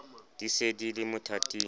di se di le mothating